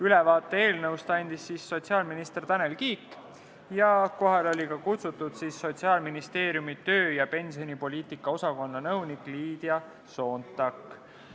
Ülevaate eelnõust andis sotsiaalminister Tanel Kiik ning kohale oli kutsutud Sotsiaalministeeriumi töö- ja pensionipoliitika osakonna nõunik Liidia Soontak.